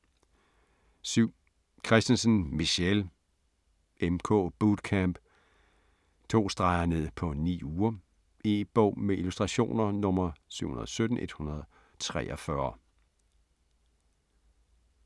7. Kristensen, Michelle: MK bootcamp: 2 str. ned på 9 uger E-bog med illustrationer 717143